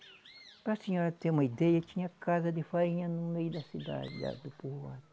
Para a senhora ter uma ideia, tinha casa de farinha no meio da cidade, lá do povoado.